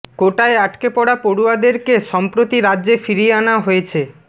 কোটায় আটকে পড়া পড়ুয়াদেরকে সম্প্রতি রাজ্যে ফিরিয়ে আনা হয়েছে